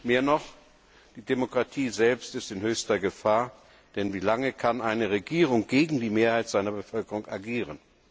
Mehr noch, die Demokratie selbst ist in höchster Gefahr, denn wie lange kann eine Regierung gegen die Mehrheit der Bevölkerung agieren?